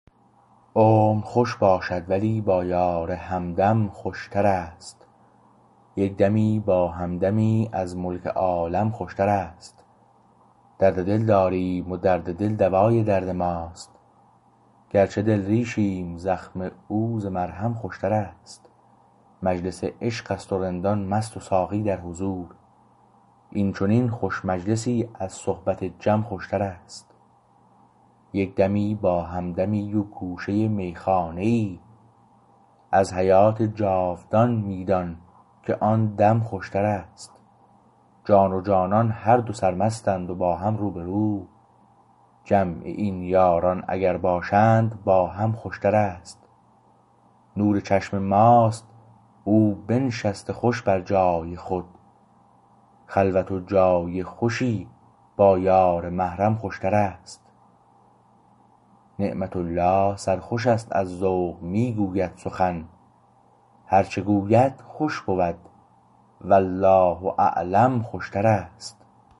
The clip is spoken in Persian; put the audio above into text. عمر خوش باشد ولی با یار همدم خوشتر است یک دمی با همدمی از ملک عالم خوشتر است درد دل داریم و درد دل دوای درد ماست گرچه دل ریشیم زخم او ز مرهم خوشتر است مجلس عشقست و رندان مست و ساقی در حضور این چنین خوش مجلسی از صحبت جم خوشتر است یک دمی با همدمی و گوشه میخانه ای ازحیات جاودان می دان که آن دم خوشتر است جان و جانان هر دو سرمستند و با هم روبرو جمع این یاران اگر باشند باهم خوشتر است نور چشم ماست او بنشسته خوش بر جای خود خلوت و جای خوشی با یار محرم خوشتر است نعمت الله سرخوش است از ذوق می گوید سخن هرچه گوید خوش بود والله اعلم خوشتر است